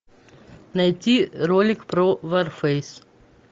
найти ролик про варфейс